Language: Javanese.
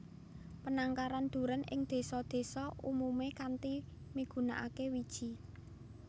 Panangkaran durèn ing désa désa umumé kanthi migunakaké wiji